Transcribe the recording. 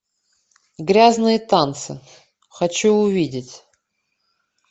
грязные танцы хочу увидеть